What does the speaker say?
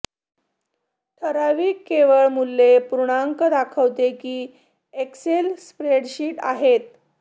ठराविक केवळ मूल्ये पूर्णांक दाखवते की एक्सेल स्प्रेडशीट आहेत